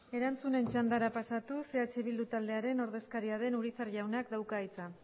erantzunen txandara pasatuz eh bildu taldearen ordezkaria den urizar jaunak dauka hitza